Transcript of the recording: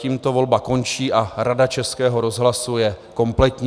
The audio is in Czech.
Tímto volba končí a Rada Českého rozhlasu je kompletní.